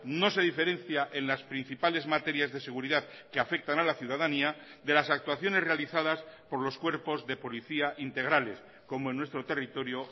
no se diferencia en las principales materias de seguridad que afectan a la ciudadanía de las actuaciones realizadas por los cuerpos de policía integrales como en nuestro territorio